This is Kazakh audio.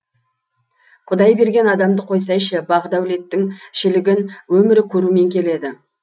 құдай берген адамды қойсайшы бақ дәулеттің шілігін өмірі көрумен келеді